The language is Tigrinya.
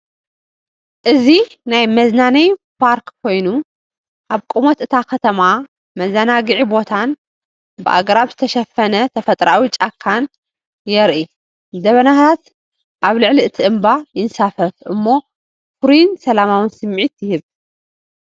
እዚ ናይ መዝናነዬ ፓርክ ኮየኑ ኣብ ቁመት እታ ከተማ መዘናግዒ ቦታን ብኣግራብ ዝተሸፈነ ተፈጥሮኣዊ ጫካን የርኢ። ደበናታት ኣብ ልዕሊ እቲ እምባ ይንሳፈፉ እሞ ፍሩይን ሰላማውን ስምዒት ይህቡ።